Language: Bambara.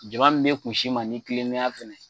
Jama min bɛ kusi ma ni kilennenya fɛnɛ ye.